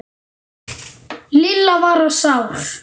Lilla var sár.